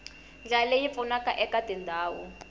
ndlela leyi pfunaka eka tindhawu